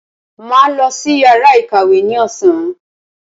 Màá lọ sí yàrá ìkàwé ní ọ̀sán.